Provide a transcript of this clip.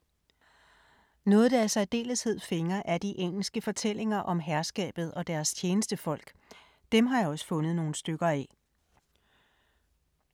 Noget der i særdeleshed fænger er de engelske fortællinger om herskabet og deres tjenestefolk – dem har jeg også fundet nogle stykker af.